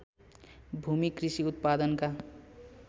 भूमि कृषि उत्पादनका